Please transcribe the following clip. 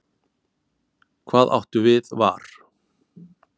Hvað áttu við var?